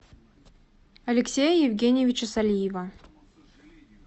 алексея евгеньевича солиева